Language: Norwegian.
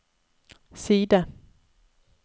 side